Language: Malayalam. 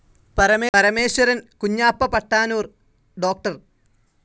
പരമേശ്വരൻ, കുഞ്ഞാപ്പ പട്ടാനൂർ, ഡോക്ടർ.